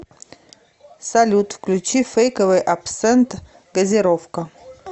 салют включи фейковый абсент газировка